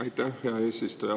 Aitäh, hea eesistuja!